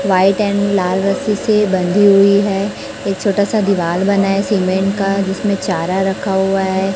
White and लाल रस्सी से बंधी हुई है एक छोटा सा दीवाल बना है सीमेंट का जिसमें चारा रखा हुआ है।